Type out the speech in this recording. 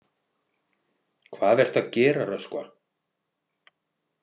Hvað ertu að gera, Röskva?